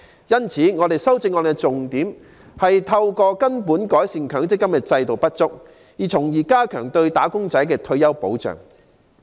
因此，我的修正案的重點，是透過根本改善強積金制度的不足，從而加強對"打工仔"的退休保障。